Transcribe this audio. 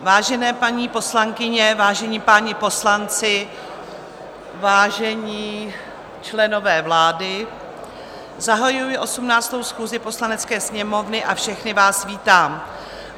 Vážené paní poslankyně, vážení páni poslanci, vážení členové vlády, zahajuji 18. schůzi Poslanecké sněmovny a všechny vás vítám.